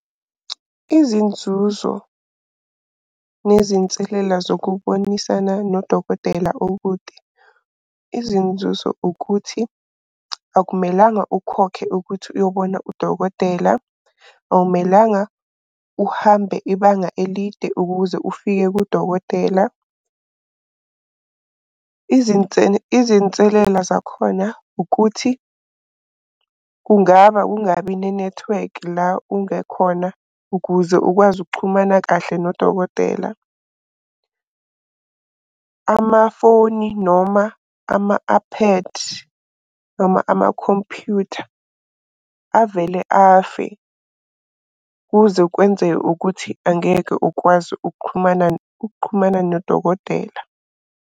Izinzuzo nezinselela zokubonisana nodokotela okude. Izinzuzo ukuthi akumelanga ukhokhe ukuthi uyobona udokotela. Awumelanga uhambe ibanga elide ukuze ufike kudokotela. Izinselela zakhona ukuthi kungaba kungabi nenethiwekhi la ungekhona ukuze ukwazi ukuxhumana kahle nodokotela. Amafoni noma ama-iPad noma amakhompuyutha, avele afe. Kuze kwenze ukuthi angeke ukwazi ukuxhumana ukuxhumana nodokotela.